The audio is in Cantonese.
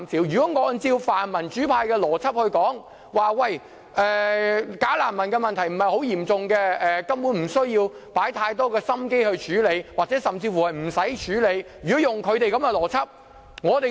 如果按照泛民主派的邏輯來說，"假難民"問題不是很嚴重，根本不需要花太多心機處理，甚至乎不需要處理。